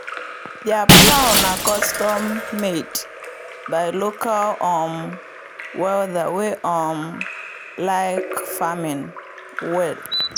their plow na custom-made by local um welder wey um like farming well.